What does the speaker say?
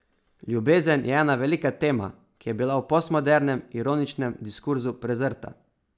Ljubezen je ena velika tema, ki je bila v postmodernem, ironičnem diskurzu prezrta.